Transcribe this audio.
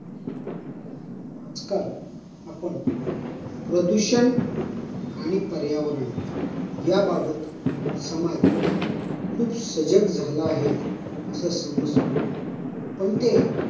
आजकाल आपण प्रदूषण आणि पर्यावरण याबाबत समाज खूप सजग झाल आहे अस समजतो पण ते,